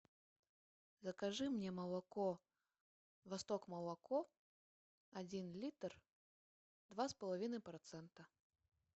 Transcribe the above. закажи мне молоко восток молоко один литр два с половиной процента